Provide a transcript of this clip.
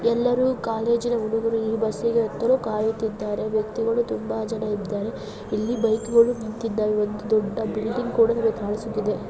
ಎಲ್ಲರೂ ಕಾಲೇಜ್ ಹುಡುಗರು ಈ ಬಸ್ಸಿಗೆ ಹೋಗಲು ಕಾಯುತ್ತಿದ್ದಾರೆ ವ್ಯಕ್ತಿಗಳು ಕಾಯುತ್ತಿದ್ದಾರೆ ಮತ್ತೆ ಇಲ್ಲಿ ವಾಹನಗಳು ಇದೆ ಬಿಲ್ಡಿಂಗ್ ಇದೆ.